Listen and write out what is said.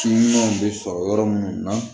Si ɲumanw bɛ sɔrɔ yɔrɔ munnu na